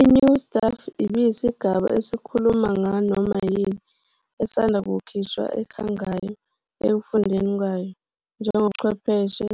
I-New Stuff ibiyisigaba esikhuluma nganoma yini esanda kukhishwa ekhangayo ekufundeni kwayo, njengobuchwepheshe,